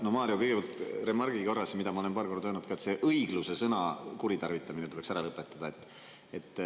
No Mario, kõigepealt remargi korras, mida ma olen paar korda öelnud ka: see "õigluse" sõna kuritarvitamine tuleks ära lõpetada.